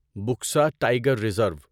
Buxa tiger reserve